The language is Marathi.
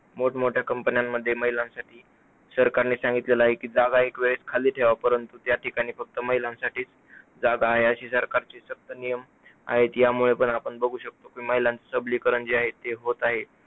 मोठमोठ्या companies मध्ये महिलांसाठी सरकारने सांगितले आहे की जागा एक वेळेस खाली ठेवा परंतु त्या ठिकाणी फक्त महिलांसाठीच जागा आहे अशी सरकारची सख्त नियम आहे, यामुळे पण आपण बघू शकतो महिलांच सबलीकरण जे आहे ते होत आहे.